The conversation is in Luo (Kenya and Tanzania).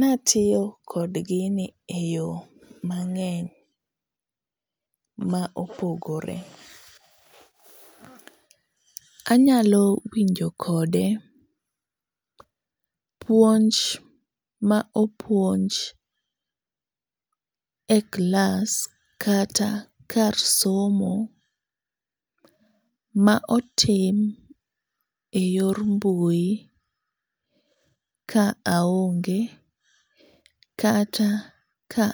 Na tiyo kod gini eyo mang'eny ma opogore. Anyalo winjo kode puonj ma opuonj e klas kata kar somo ma otim eyor mbui ka aonge kata ka